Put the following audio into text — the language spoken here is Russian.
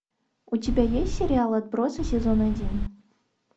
у тебя есть сериал отбросы сезон один